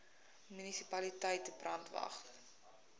munisipaliteit brandwatch